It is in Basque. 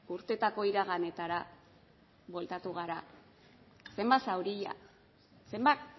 urteetako iraganetara bueltatu gara zenbat zauri zenbat